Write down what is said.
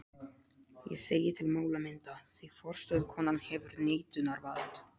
Ég segi til málamynda, því forstöðukonan hefur neitunarvald.